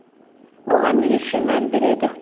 оған ерекше мән береді